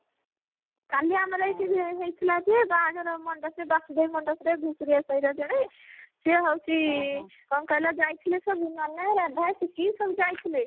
କାଲି ଆମର ଏଇଠି ହେଇଥିଲା ବାହାଘର ମଣ୍ଡପ ରେ ବାସୁଦେବ ମଣ୍ଡପ ରେ ଘୁଷୁରିଆ ସାହିର ଜଣେ ସିଏ ହଉଛି କଣ କହିଲ ଯାଇଥିଲେ ସବୁ ମନୁଆ ରାଧା ଟିକି ସବୁ ଯାଇଥିଲେ